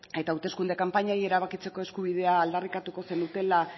eta hauteskunde kanpainei erabakitzeko eskubidea aldarrikatu zenukeela